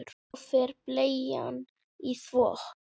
Svo fer bleian í þvott.